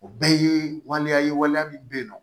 O bɛɛ ye waleya ye waleya min bɛ yen nɔ